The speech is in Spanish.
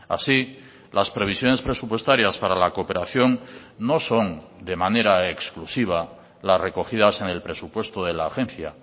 así las previsiones presupuestarias para la cooperación no son de manera exclusiva las recogidas en el presupuesto de la agencia